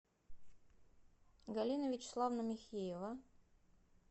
галина вячеславовна михеева